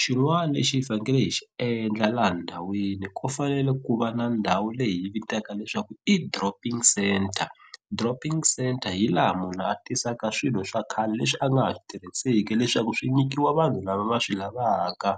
xin'wani lexi hi fanekele hi xi endla laha ndhawini ku fanele ku va na ndhawu leyi yi vitaka leswaku i dropping centre, dropping centre hi laha munhu a tisaka swilo swa khale leswi a nga ha swi tirhiseki leswaku swi nyikiwa vanhu lava va swi lavaka.